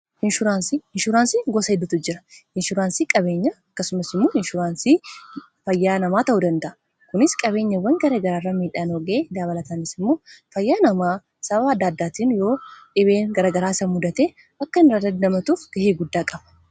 inshuraansii gosa hiddatu jira inshuraansii qabeenya akkasumas immuo inshuraansii fayyaa namaa ta'uu danda'a kunis qabeenyawwan garagaraarra miidhaan hogee daabalataanis immuo fayyaa namaa saba adaaddaatiin yoo dhibeen garagaraasa mudate akka inraa dagdamatuuf ga'ee guddaa qaba